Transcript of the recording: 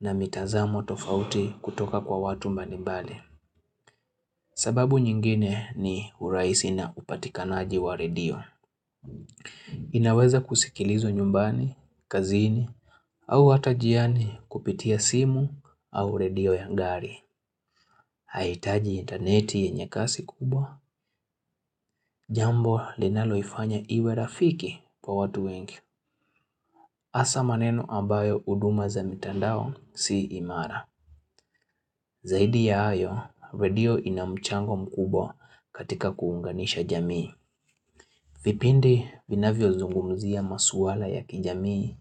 na mitazamo tofauti kutoka kwa watu mbalimbali. Sababu nyingine ni urahisi na upatikanaji wa redio. Inaweza kusikilizwa nyumbani, kazini, au hata njiani kupitia simu au redio ya ngari. Haihitaji interneti yenye kasi kubwa, jambo linalo ifanya iwe rafiki kwa watu wengi. Hasa maneno ambayo huduma za mitandao si imara. Zaidi ya hayo, redio ina mchango mkubwa katika kuunganisha jamii. Vipindi vinavyo zungumuzia masuala ya kijamii,